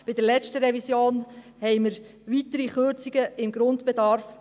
Bei der letzten Revision beschlossen wir weitere Kürzungen beim Grundbedarf.